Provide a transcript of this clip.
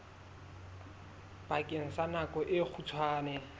bakeng sa nako e kgutshwane